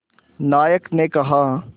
नायक ने कहा